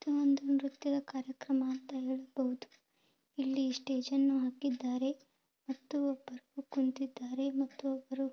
ಇದು ನಾವು ನೋಡುತ್ತಿರುವ ಕಾರ್ಯಕ್ರಮ ಎನ್ನುವುದು ಇಲ್ಲಿ ಎಷ್ಟೋ ಜನ ಇದ್ದಾರೆ ಮತ್ತು ಕುಂತಿದ್ದಾರೆ ಸ್ವಲ್ಪ ಅದನ್ ನಿಂತುಕೊಂಡಿದ್ದಾರೆ ಒಬ್ರು ಮಾತಾಡ್ತಾ ಇದ್ದಾರೆ ಚೆಂಡುವಿನ ಹಾರವನ್ನು ಒಂದು ಕಡೆ ಹಾಕಿದ್ದಾರೆ.